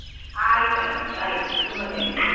ಆಯ್ತ ಆಯ್ತು ಆಯ್ತು, ತುಂಬಾ thanks .